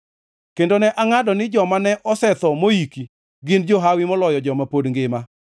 Kendo ne angʼado ni joma ne osetho moyiki, gin johawi moloyo joma pod ngima.